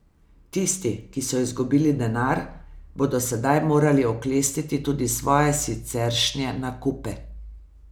Tisti, ki so izgubili denar, bodo sedaj morali oklestiti tudi svoje siceršnje nakupe.